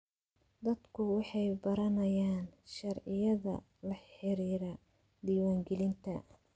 Dadku waxay baranayaan sharciyada la xiriira diiwaangelinta.